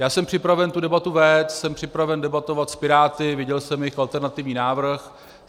Já jsem připraven tu debatu vést, jsem připraven debatovat s Piráty, viděl jsem jejich alternativní návrh.